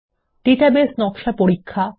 database নকশা পরীক্ষা